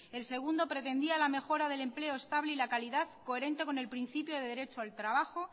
el segundo pretendía la mejora del empleo estable y la calidad coherente con el principio del derecho al trabajo